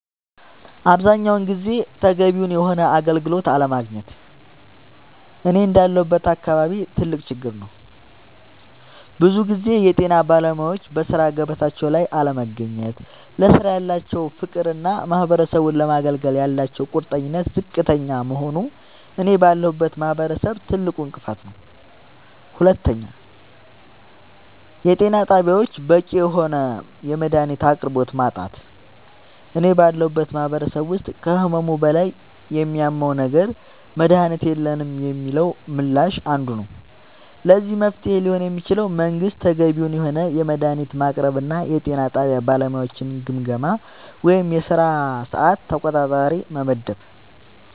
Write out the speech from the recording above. አብዛኛውን ጊዜ ተገቢውን የሆነ አገልግሎት አለማግኘት እኔ እንዳለሁበት አካባቢ ትልቅ ችግር ነዉ ብዙ ጊዜ የጤና ባለሙያወች በሥራ ገበታቸው ላይ አለመገኘት ለስራው ያላቸው ፍቅርና ማህበረሰቡን ለማገልገል ያላቸው ቁርጠኝነት ዝቅተኛ መሆኑ እኔ ባለሁበት ማህበረሰብ ትልቁ እንቅፋት ነዉ ሁለተኛው የጤና ጣቢያወች በቂ የሆነ የመድሃኒት አቅርቦት ማጣት እኔ ባለሁበት ማህበረሰብ ውስጥ ከህመሙ በላይ የሚያመው ነገር መድሃኒት የለንም የሚለው ምላሽ አንዱ ነዉ ለዚህ መፍትሄ ሊሆን የሚችለው መንግስት ተገቢውን የሆነ መድሃኒት ማቅረብና የጤና ጣቢያ ባለሙያወችን ግምገማ ወይም የስራ ሰዓት ተቆጣጣሪ መመደብ